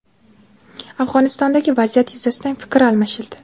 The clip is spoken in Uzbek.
Afg‘onistondagi vaziyat yuzasidan fikr almashildi.